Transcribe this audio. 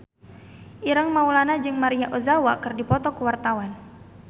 Ireng Maulana jeung Maria Ozawa keur dipoto ku wartawan